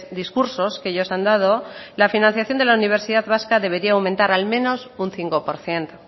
discursos que ellos han dado la financiación de la universidad vasca debería aumentar al menos un cinco por ciento